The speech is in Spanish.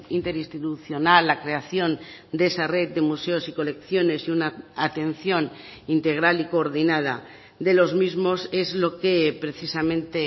interinstitucional la creación de esa red de museos y colecciones y una atención integral y coordinada de los mismos es lo que precisamente